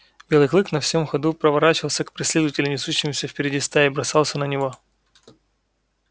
белый клык на всем ходу поворачивался к преследователю несущемуся впереди стаи и бросался на него